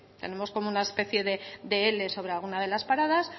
tenemos como una especie de ele sobre alguna de las paradas